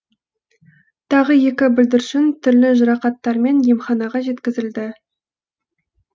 тағы екі бүлдіршін түрлі жарақаттармен емханаға жеткізілді